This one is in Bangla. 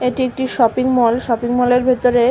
এটি একটি শপিং মল । শপিং মলের ভেতরে।